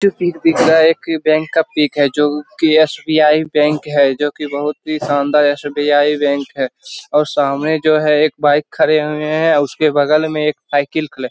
तस्वीर दिख रहा है। एक बैंक का पिक है जोकि एस.बी.आई. बैंक है जोकि बोहोत ही शानदार एस.बी.आई. बैंक है और सामने जो है एक बाइक खड़ी हुई है उसके बगल में एक साइकिल खड़ी है।